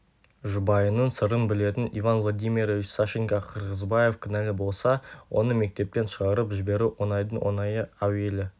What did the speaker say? жұбайының сырын білетін иван владимирович сашенька қырғызбаев кінәлі болса оны мектептен шығарып жіберу оңайдың оңайы әуелі